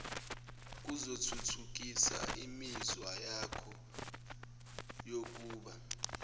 kuzothuthukisa umuzwawakho wokuba